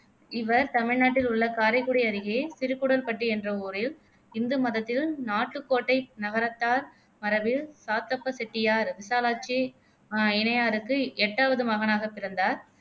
இவர் தமிழ்நாட்டில் உள்ள காரைக்குடி அருகே சிறுகூடல்பட்டி என்ற ஊரில் இந்து மதத்தில் நாட்டுக்கோட்டை நகரத்தார் மரபில் சாத்தப்ப செட்டியார், விசாலாட்சி அஹ் இணையாருக்கு எட்டாவது மகனாக பிறந்தார்